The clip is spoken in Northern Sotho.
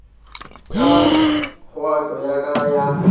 ka kgaotšo ya ka ya